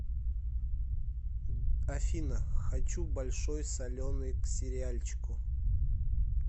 афина хочу большой соленый к сериальчику